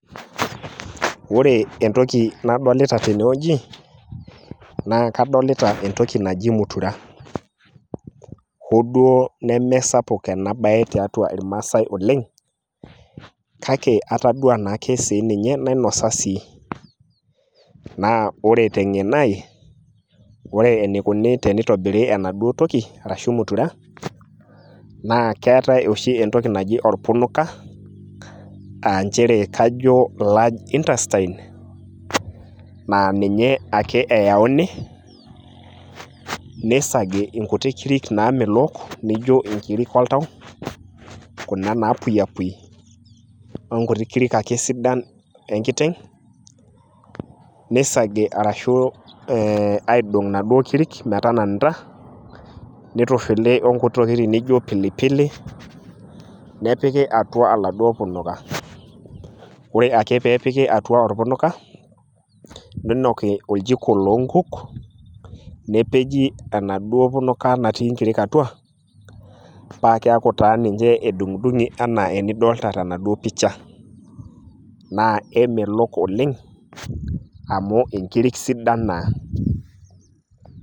Ore entoki nadolita tenewueji, naa kadolita entoki naji mutura. Ho duo nemesapuk enabae tiatua irmaasai oleng',kake atadua nake sininye nainosa sii. Na ore teng'eno ai, ore enikuni tenitobiri enaduo toki, arashu mutura, naa keetae oshi entoki naji orpunuka, ah njere kajo large intestine, na ninye ake eauni, nisagi inkuti kiri namelook, nijo inkirik oltau, kuna napuyiapui, onkuti kirik ake sidan enkiteng',nisagi arashu aidong' inaduo kirik metananita, nitushuli onkuti tokiting naijo pilipili, nepiki atua aladuo punuka. Ore ake pepiki atua orpunuka, ninoki orjiko loonkuk, nepeji enaduo punuka natii nkirik atua, pakeeku taa ninche edung'dung'i enaa enidolta tenaduo picha. Naa kemelok oleng', amu inkirik sidan naa.